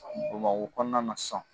Bamakɔ kɔnɔna na san